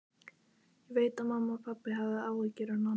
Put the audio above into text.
Ég veit að mamma og pabbi hafa áhyggjur af Nonna.